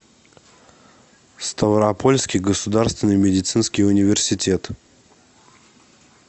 ставропольский государственный медицинский университет